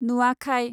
Nuakhai